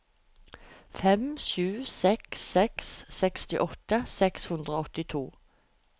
fem sju seks seks sekstiåtte seks hundre og åttito